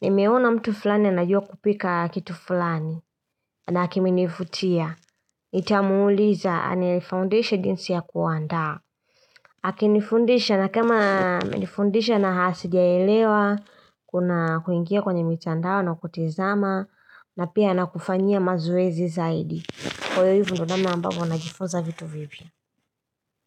nimeona mtu fulani anajua kupika kitu fulani. Na kimenivutia nitamuuliza anifundishe jinsi ya kuandaa. Akinifundisha na kama amenifundisha na sijaelewa, kuna kuingia kwenye mitandao na kutizama, na pia anakufanyia mazoezi zaidi. Kwa hivo ndivo namna ambavyo najiifunza vitu vipya.